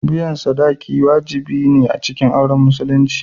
Biyan sadaki wajibi ne a cikin auren Musulunci.